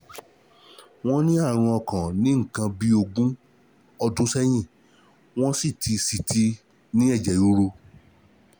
Wọ́n ní àrùn ọkàn ní nǹkan bí ogún ọdún sẹ́yìn, wọ́n sì ti sì ti ní ẹ̀jẹ̀ ríru